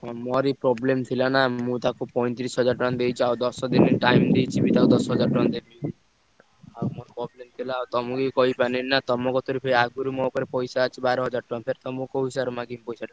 ହଁ ମୋର ବି problem ଥିଲା ନା। ମୁଁ ତାକୁ ପଇଁତିରିଶି ହଜାର ଟଙ୍କା ଦେଇଚି ଆଉ ଦଶ ଦିନି time ଦେଇଚି ବି ତାକୁ ଦଶ ହଜାର ଟଙ୍କା ଦେବି। ଆଉ ମୋର problem ଥିଲା। ତମୁକୁ ବି କହିପାରିଲିନି ନା ତମ କତିରୁ ବି ଆଗୁରୁ ମୋ ଉପରେ ପଇସା ଅଛି ବାର ହଜାର ଟଙ୍କା। ଫେରେ ତମୁକୁ କୋଉ ହିସାବରେ ମାଗିବି ପଇସାଟା।